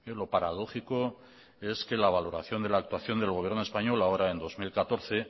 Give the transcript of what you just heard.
lo paradójico es que la valoración de la actuación del gobierno español ahora en dos mil catorce